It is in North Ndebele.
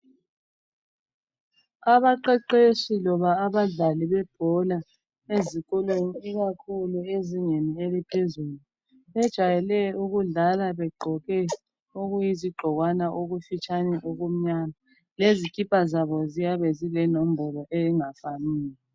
Abaqeqeshi loba abadlali bebhola ezikolweni ikakhulu ezingeni eliphezulu, bejwayele ukudlala begqoke okuyizigqokwana okufitshane okumnyama lezikipa zabo ziyabe zilenombolo engafaniyo.